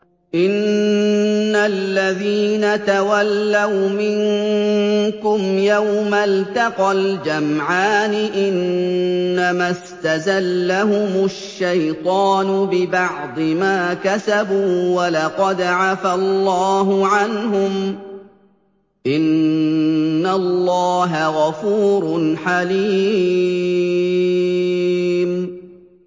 إِنَّ الَّذِينَ تَوَلَّوْا مِنكُمْ يَوْمَ الْتَقَى الْجَمْعَانِ إِنَّمَا اسْتَزَلَّهُمُ الشَّيْطَانُ بِبَعْضِ مَا كَسَبُوا ۖ وَلَقَدْ عَفَا اللَّهُ عَنْهُمْ ۗ إِنَّ اللَّهَ غَفُورٌ حَلِيمٌ